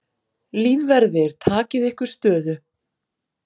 Lífverðir takið ykkur stöðu.